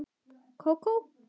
Kókó?